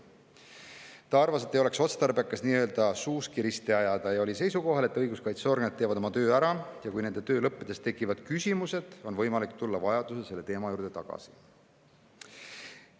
et ei oleks otstarbekas suuski risti ajada, ja oli seisukohal, et õiguskaitseorganid teevad oma töö ära ja kui nende töö lõppedes tekivad küsimused, on võimalik tulla vajadusel selle teema juurde tagasi.